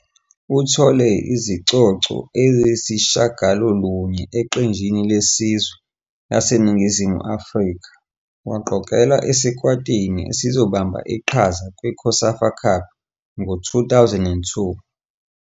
Uthole izicoco eziyisishiyagalolunye eqenjini lesizwe laseNingizimu Afrika, waqokelwa esikwatini esizobamba iqhaza kwiCOSAFA Cup ngo-2002.